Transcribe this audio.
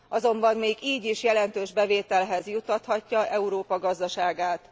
Azonban még így is jelentős bevételhez juttathatja Európa gazdaságát.